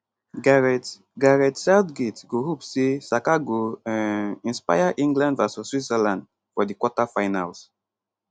gareth gareth southgate go hope say saka go um inspire england vs switzerland for di quarterfinals